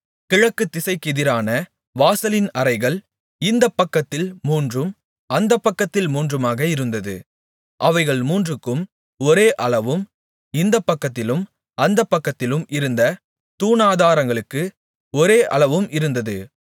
கிழக்குதிசைக்கெதிரான வாசலின் அறைகள் இந்தப்பக்கத்தில் மூன்றும் அந்தப்பக்கத்தில் மூன்றுமாக இருந்தது அவைகள் மூன்றுக்கும் ஒரே அளவும் இந்தப்பக்கத்திலும் அந்தப்பக்கத்திலும் இருந்த தூணாதாரங்களுக்கு ஒரே அளவும் இருந்தது